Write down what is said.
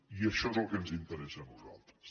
i això és el que ens interessa a nosaltres